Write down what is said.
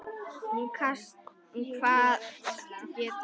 Hún kvaðst geta það.